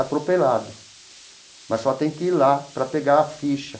atropelado, mas só tem que ir lá para pegar a ficha.